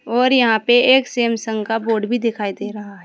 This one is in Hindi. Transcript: और यहां पे एक सैमसंग का बोर्ड भी दिखाई दे रहा है।